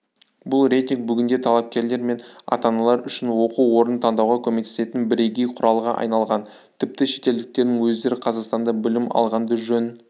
бұл рейтинг бүгінде талапкерлер мен ата-аналар үшін оқу орнын таңдауға көмектесетін бірегей құралға айналған тіпті шетелдіктердің өздері қазақстанда білім алғанды жөн